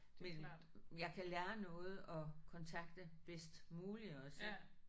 Men jeg kan lære noget og kontakte bedst muligt også ik